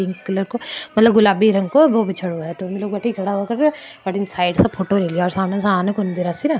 pink colour को मतलब गुलाबी रंग को साइड से फोटो ले लिया सामने से --